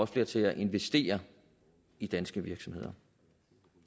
flere til at investere i danske virksomheder